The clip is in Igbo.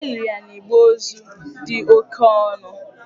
E liri ya n'igbe ozu dị oke ọnụ.